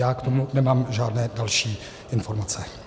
Já k tomu nemám žádné další informace.